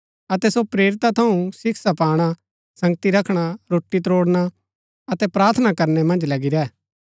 अतै सो प्रेरिता थऊँ शिक्षा पाणा संगति रखणा रोटी तोड़णा अतै प्रार्थना करनै मन्ज लगी रैह